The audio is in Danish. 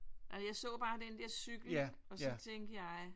Jeg så bare den der cykel og så tænkte jeg